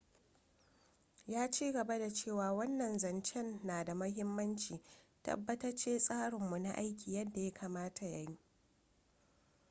ya ci gaba da cewa wannan zancen na da muhimmanci. tabbatace tsarinmu na aiki yadda ya kamata ya yi.